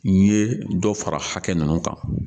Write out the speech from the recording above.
N ye dɔ fara hakɛ ninnu kan